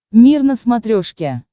мир на смотрешке